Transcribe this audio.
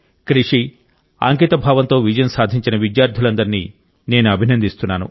కృషి అంకితభావంతో విజయం సాధించిన విద్యార్థులందరినీ నేను అభినందిస్తున్నాను